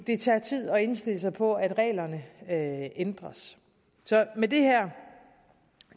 det tager tid at indstille sig på at reglerne ændres så med det her